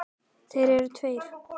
Þeir eru tveir.